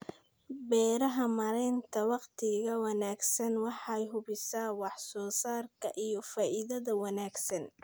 Beeraha Maareynta wakhtiga wanaagsan waxay hubisaa wax soo saarka iyo faa'iidada wanaagsan.